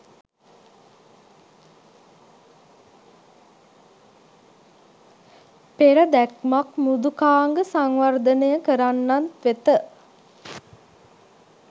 "පෙර දැක්මක්" මෘදුකාංග සංවර්ධනය කරන්නන් වෙත